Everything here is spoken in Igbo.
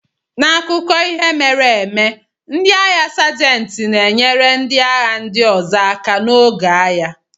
N'akụkọ ihe mere eme, ndị agha sajenti na-enyere ndị agha ndị ọzọ aka n'oge agha.